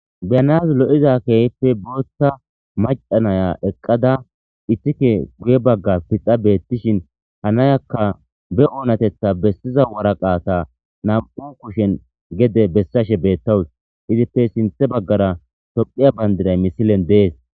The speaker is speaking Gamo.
biyanas lo7iza keehippe bootta macanaya eqqada ittike guye bagga pixa beettishin hanayakka be oonatetha bessiza waraqaata nam7u kushen gede bessashe beettawus izippe sinthe baggara tophiya bandiray misilen dees